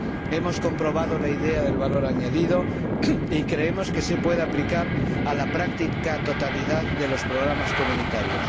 Hemos comprobado la idea del valor añadido y creemos que se puede aplicar a la práctica totalidad de los programas comunitarios.